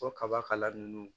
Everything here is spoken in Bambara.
O kaba kala nunnu